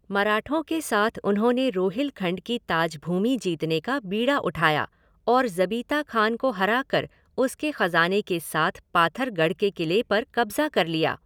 मराठों के साथ उन्होंने रोहिलखंड की ताज भूमि जीतने का बीड़ा उठाया और ज़बीता खान को हराकर उसके खजाने के साथ पाथरगढ़ के किले पर कब्जा कर लिया।